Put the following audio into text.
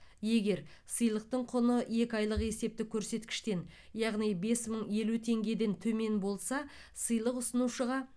егер сыйлықтың құны екі айлық есептік көрсеткіштен яғни бес мың елу теңгеден төмен болса сыйлық ұсынушыға